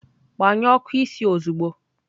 Gbanyụọ ọkụ isi ozugbo!